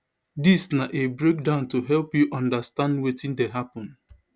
dis na a breakdown to help you understand wetin dey hapun